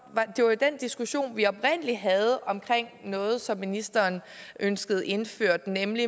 var jo den diskussion vi oprindelig havde om noget som ministeren ønskede indført nemlig